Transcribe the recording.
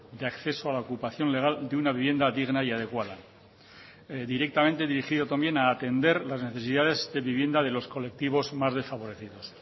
de acceso a la ocupación legal de una vivienda digna y adecuada directamente dirigido también a atender las necesidades de vivienda de los colectivos más desfavorecidos